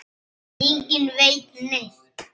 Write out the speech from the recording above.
Enginn veit neitt.